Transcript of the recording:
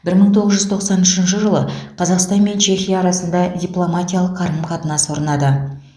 бір мың тоғыз жүз тоқсан үшінші жылы қазақстан мен чехия арасында дипломатиялық қарым қатынас орнады